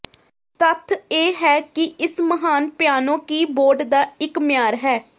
ਤੱਥ ਇਹ ਹੈ ਕਿ ਇਸ ਮਹਾਨ ਪਿਆਨੋ ਕੀਬੋਰਡ ਦਾ ਇੱਕ ਮਿਆਰ ਹੈ